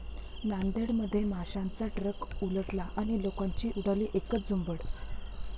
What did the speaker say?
नांदेडमध्ये माशांचा ट्रक उलटला आणि लोकांची उडाली एकच झुंबड!